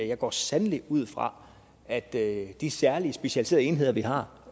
jeg går sandelig ud fra at de særlige specialiserede enheder vi har